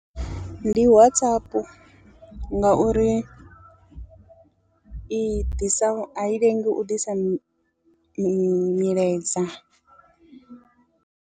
Ndi WhatsApp ngauri i ḓisa a i lengi u ḓisa mi mi milaedza.